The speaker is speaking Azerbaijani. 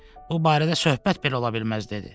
Bu barədə söhbət belə ola bilməz dedi.